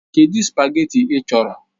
Kedụ spageetí ị chọrọ?